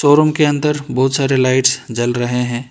Room के अंदर बहुत सारे लाइट्स जल रहे हैं।